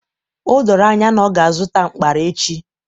O doro anya na ọ ga-azụta mkpara echi